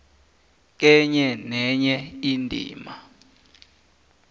kenye nenye indima